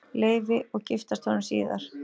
Leifi og giftast honum síðar.